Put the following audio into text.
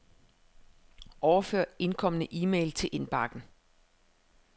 Overfør indkomne e-mail til indbakken.